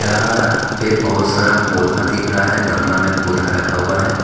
यहा पे बहोत सारा पौधा दिख रहा है गमला में पौधा रखा हुआ है।